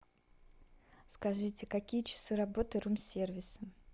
скажите какие часы работы рум сервиса